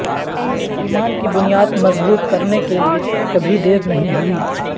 ایمان کی بنیاد مضبوط کرنے کے لئے کبھی دیر نہیں ہوئی